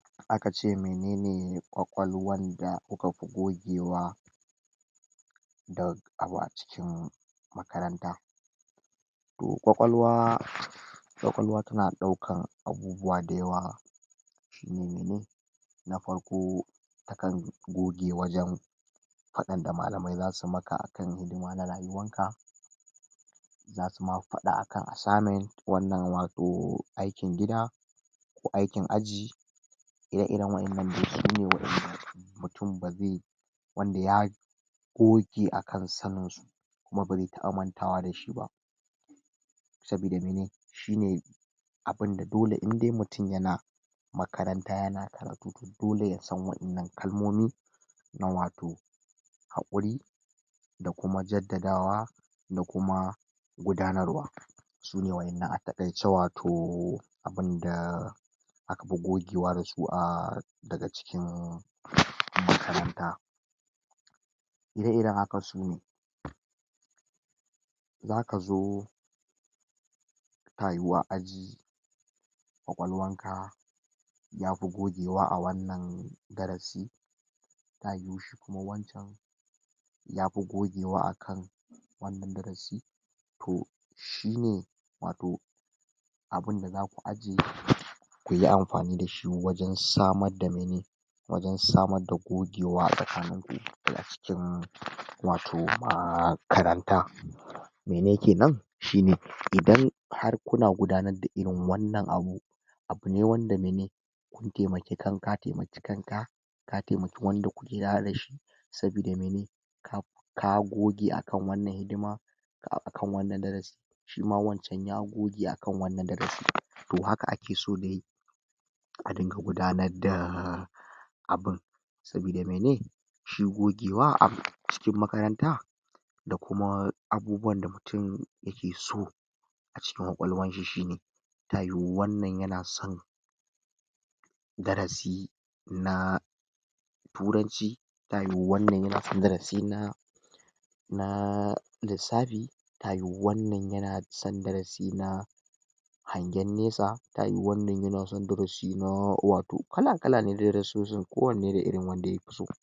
Aka ce menene kwakwalwan da kuka pi gogewa da abu a cikin makaranta. Toh kwakwalwa kwakwalwa tana ɗaukan abubuwa da yawa shine mene? Na parko, takan goge wajan paɗan da malaamai zasu maka akam hidima na rayuwanka, za suma paɗa akan asamen wannan wato aikin gida, ko aikin aji, ire-iren wa'innan dai sune mutum baze wanda ya goge akan sanin su kuma baze taɓa mantawa da shi ba sabida mene? shine abinda dole in dai mutum yana makaranta yana karatu dole yasa wa'innan kalmomi na wato haƙuri da kuma jaddadawa da kuma gudanar wa sune wa'innan a takaice wato abinda aka pi gogewa da su a daga cikin makaranta. Ire-iren haka sune zaka zo ta yiwa aji kwakwalwan ka yapi gogewa a wannan darasi ta yiwu kuma wancan yaoi gogewa akan wannan darasi toh shine wato abinda zaku ajiye kuyi ampani dashi wajan samar da mene? Wajan samar da gogewa a tsakanin cikin wato maakaranta mene kenan? Shine idan har kuma gudanar da irin wannan abu abune wanda mene em ka taimaki kanka ka taimaki wanda kuke tare da shi sabida mene ka goge akan wannan hidima akan wannan darasi shima wancan ya goge akan wannan darasi toh haka ake so dai a dinga gudanar da bin. Sabida mene? S hi gogewa a cikin makaranta da kuma abubuwanda mutum yake so a cikin kwakwalwan shi shine ta yiwu wannan yana san darasi na turanci ta yiwu wannan yaan san darasi na naa lissapi ta yiwu wannan yana san darasi na hangen nesa ta yiwu wannan yana san darasina wato kala kala ne dai darasosin kowanne da irin wanda yapi so